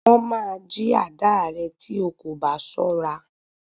Wọ́n máa jí àdáà rẹ tí o kò bá ṣọ́ra.